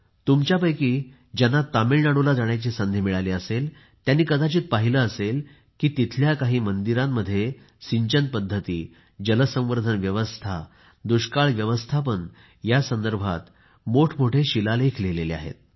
तुमच्यापैकी ज्यांना तमिळनाडूला जाण्याची संधी मिळाली आहे त्यांनी कदाचित पहिले असेल की तमिळनाडूतील काही मंदिरात सिंचन पध्दती जलसंवर्धन व्यवस्था दुष्काळ व्यवस्थापन यासंदर्भात मंदिरांमध्ये मोठेमोठे शिलालेख लिहिलेले आहेत